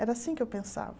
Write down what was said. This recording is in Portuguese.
Era assim que eu pensava.